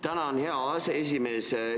Tänan, hea aseesimees!